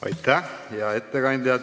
Aitäh, hea ettekandja!